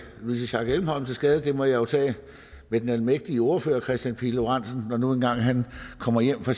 louise schack elholm til skade det må jeg jo tage med den almægtige ordfører herre kristian pihl lorentzen når nu engang han kommer hjem fra